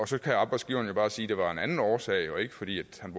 så kan arbejdsgiveren jo bare sige at det var af en anden årsag og ikke fordi han